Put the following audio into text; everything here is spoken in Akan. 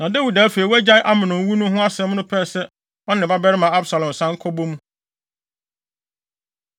Na Dawid a afei wagyae Amnon wu no ho asɛm no pɛɛ sɛ ɔne ne babarima Absalom san ka bɔ mu.